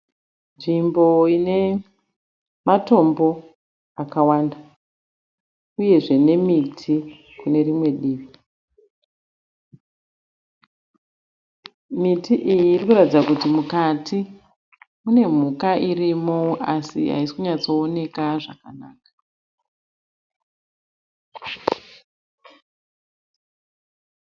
Nzvimbo ine matombo akawanda, uyezve nemiti kunerimwe divi. Miti iyi irikuratidza kuti mune mhuka irimo, asi haisi kunyatsooneka zvakanaka.